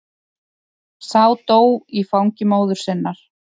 Sá dó í fangi móður sinnar.